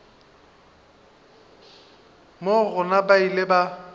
moo gona ba ile ba